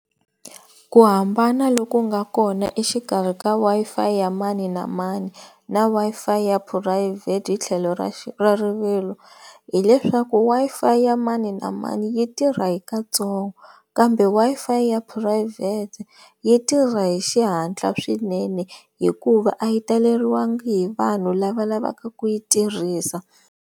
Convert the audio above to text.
Ku hambana loku nga kona exikarhi ka Wi-Fi ya mani na mani na Wi-Fi ya phurayivhete hi tlhelo ra ra rivilo, hileswaku Wi-Fi ya mani na mani yi tirha hi katsongo kambe Wi-Fi ya phurayivhete yi tirha hi xihatla swinene hikuva a yi taleriwanga hi vanhu lava lavaka ku yi tirhisa.